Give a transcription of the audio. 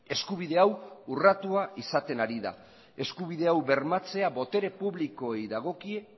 eskubide hau urratua izaten ari da eskubide hau bermatzea botere publikoei dagokie